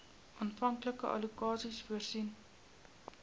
aanvanklike allokasies voor